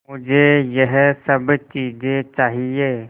मुझे यह सब चीज़ें चाहिएँ